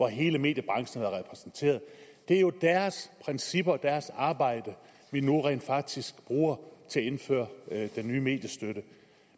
hele mediebranchen har været repræsenteret det er jo deres principper og deres arbejde vi nu rent faktisk bruger til at indføre den nye mediestøtte